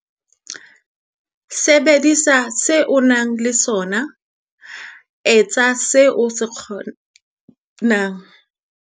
Sebedisa seo o nang le sona. Etsa seo o ka se kgonang.